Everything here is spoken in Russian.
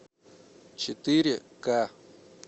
четыре ка